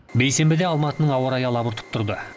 бейсенбіде алматының ауа райы алабұртып тұрды